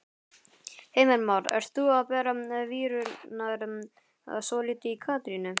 Heimir Már: Ert þú að bera víurnar svolítið í Katrínu?